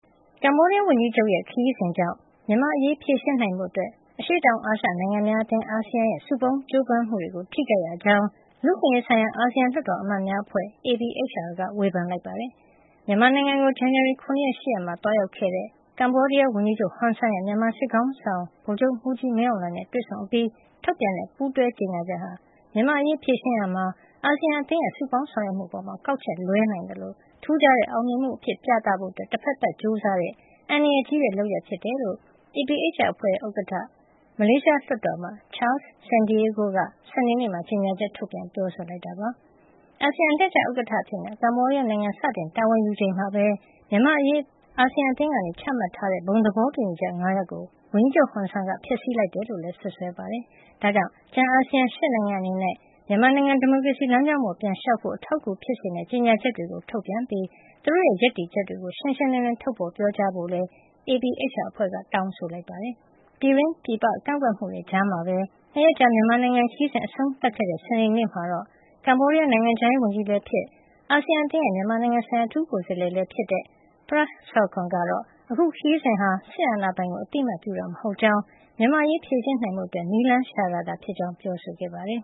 ကမ္ဘောဒီးယား ဝန်ကြီးချုပ်ရဲ့ ခရီးစဉ်ကြောင့် မြန်မာ့အရေး ဖြေရှင်းနိုင်ဖို့ အရှေ့တောင်အာရှ နိုင်ငံများအသင်း (အာဆီယံ) ရဲ့ စုပေါင်းကြိုးပမ်းမှုတွေကို ထိခိုက်ရကြောင်း လူ့အခွင့်အရေးဆိုင်ရာ အာဆီယံ လွှတ်တော်အမတ်များအဖွဲ့ (APHR) က ဝေဖန်လိုက်ပါတယ်။ မြန်မာနိုင်ငံကို ဇန်နဝါရီ ၇ ရက်နဲ့ ၈ ရက်နေ့တွေမှာ သွားရောက်ခဲ့တဲ့ ကမ္ဘောဒီးယားဝန်ကြီးချုပ် ဟွန်ဆန်ရဲ့ မြန်မာစစ်ခေါင်းဆောင် ဗိုလ်ချုပ်မှူးကြီးမင်းအောင်လှိုင်နဲ့ တွေ့ဆုံအပြီး ထုတ်ပြန်တဲ့ ပူးတွဲကြေညာချက်ဟာ မြန်မာ့အရေး ဖြေရှင်းရာမှာ အာဆီယံအသင်းရဲ့ စုပေါင်းဆောင်ရွက်မှုအပေါ် ကောက်ချက်လွဲနိုင်သလို ထူးခြားတဲ့ အောင်မြင်မှုအဖြစ် ပြသဖို့ တဖက်သတ် ကြိုးစားတဲ့ အန္တရာယ်ကြီးတဲ့ လုပ်ရပ်ဖြစ်ကြောင်း APHR အဖွဲ့ရဲ့ ဥက္ကဋ္ဌ၊ မလေးရှားလွှတ်တော်အမတ် Charles Santiago က စနေနေ့မှာ ကြေညာချက် ထုတ်ပြန် ပြောဆိုလိုက်တာပါ။ အာဆီယံ အလှည့်ကျဥက္ကဋ္ဌအဖြစ် ကမ္ဘောဒီးယားနိုင်ငံက စတင်တာဝန်ယူချိန်မှာပဲ မြန်မာ့အရေး အသင်းက ချမှတ်ထားတဲ့ ဘုံသဘောတူညီချက် ၅ ရပ်ကို ဝန်ကြီးချုပ်ဟွန်ဆန်က ဖျက်ဆီးလိုက်တယ်လို့လည်း စွပ်စွဲခဲ့ပါတယ်။ ဒါကြောင့် ကျန် အာဆီယံ ၈ နိုင်ငံအနေနဲ့ မြန်မာနိုင်ငံ ဒီမိုကရေစီလမ်းကြောင်းပေါ် ပြန်လျှောက်ဖို့ အထောက်အကူဖြစ်စေမယ့် ကြေညာချက်တွေ ထုတ်ပြန်ပြီး သူတို့ရဲ့ ရပ်တည်ချက်တွေကို ရှင်းရှင်းလင်းလင်း ထုတ်ဖော် ပြောကြားကြဖို့လည်း APHR အဖွဲ့ကြီးက တောင်းဆိုလိုက်ပါတယ်။ ပြည်တွင်း ပြည်ပ ကန့်ကွက်မှုတွေကြားမှာပဲ ၂ ရက်ကြာ မြန်မာနိုင်ငံခရီးစဉ် အဆုံးသတ်ခဲ့တဲ့ စနေနေ့မှာတော့ ကမ္ဘောဒီးယား နိုင်ငံခြားရေးဝန်ကြီးလည်းဖြစ်၊ အာဆီယံအသင်းရဲ့ မြန်မာနိုင်ငံ အထူးကိုယ်စားလှယ်လည်းဖြစ်တဲ့ Prak Sokhonn ကတော့ အခုခရီးစဉ်ဟာ စစ်အာဏာပိုင်ကို အသိအမှတ်ပြုဖို့ မဟုတ်ကြောင်း၊ မြန်မာ့အရေး ဖြေရှင်းနိုင်ဖို့ နည်းလမ်းရှာတာသာဖြစ်ကြောင်း ပြောဆိုခဲ့ပါတယ်